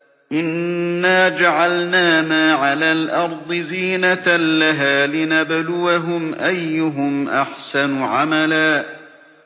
إِنَّا جَعَلْنَا مَا عَلَى الْأَرْضِ زِينَةً لَّهَا لِنَبْلُوَهُمْ أَيُّهُمْ أَحْسَنُ عَمَلًا